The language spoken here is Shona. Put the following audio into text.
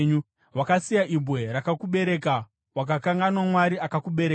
Wakasiya Ibwe rakakubereka; wakakanganwa Mwari akakubereka.